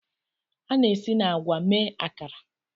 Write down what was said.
A na-esi na agwa mee Akara.